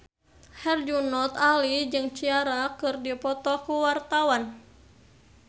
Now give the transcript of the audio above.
Herjunot Ali jeung Ciara keur dipoto ku wartawan